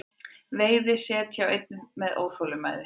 Veiði set hjá einni með óþolinmæði